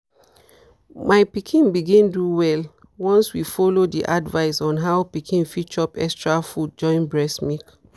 my pikin begin do well once we follow the advice on how pikin fit chop extra food join breast milk.